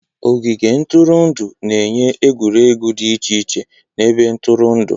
Ogige ntụrụndụ na-enye egwuregwu dị iche iche na ebe ntụrụndụ.